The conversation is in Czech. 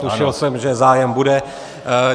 Tušil jsem, že zájem bude.